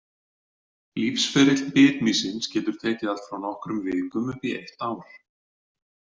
Lífsferill bitmýsins getur tekið allt frá nokkrum vikum upp í eitt ár.